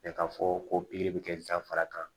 k'a fɔ ko bɛ kɛ dafara kan